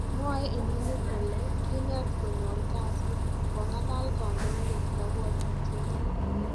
Mwae inoni koli kinet koyor kasit ,kong'alal kandoindet kapwatutiet nyin